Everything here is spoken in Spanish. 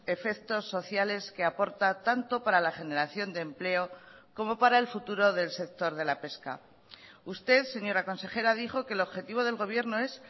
efectos sociales que aporta tanto para la generación de empleo como para el futuro del sector de la pesca usted señora consejera dijo que el objetivo del gobierno es